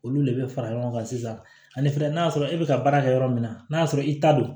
Olu le bɛ fara ɲɔgɔn kan sisan ani fɛnɛ n'a sɔrɔ e bɛ ka baara kɛ yɔrɔ min na n'a y'a sɔrɔ i ta don